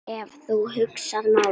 Ef þú hugsar málið.